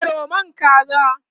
yaro man kaza ne?